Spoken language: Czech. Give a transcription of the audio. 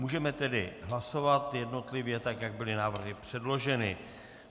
Můžeme tedy hlasovat jednotlivě, tak jak byly návrhy předloženy.